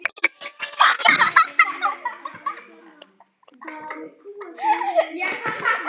Svo allt gangi að óskum.